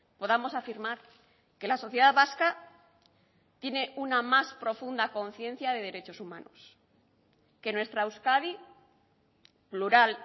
podamos afirmar que la sociedad vasca tiene una más profunda conciencia de derechos humanos que nuestra euskadi plural